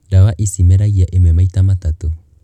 Ndawa ici irĩ meragia imwe maita matatũ.